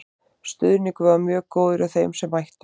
Stuðningurinn var mjög góður hjá þeim sem mættu.